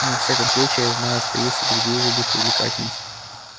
но во всяком случае я знаю что есть и другие виды привлекательности